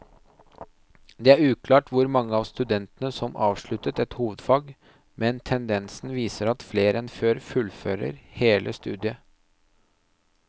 Det er uklart hvor mange av studentene som avsluttet et hovedfag, men tendensen viser at flere enn før fullfører hele studiet.